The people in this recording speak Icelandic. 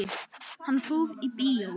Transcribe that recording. Hann fór í bíó.